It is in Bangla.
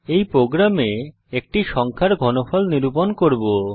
এই প্রোগ্রামে একটি সংখ্যার কিউবঘনফলনিরূপণ করব